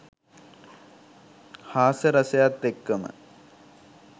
හාස්‍ය රසයත් එක්කම